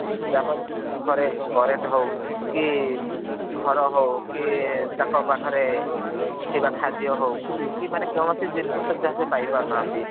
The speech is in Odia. ଆଜ୍ଞା ଯାହା ଫଳ ରେ ସେମାନେ ତାଙ୍କ ଘରେ current ହଉ କି ଘର ହଉ କି ତାଙ୍କ ପାଖରେ ଥିବା ଖାଦ୍ୟ ହଉ କି କୌଣସି ଜିନିଷ ସୁବିଧା ସେ ପାଇ ପାରୁ ନାହାନ୍ତି।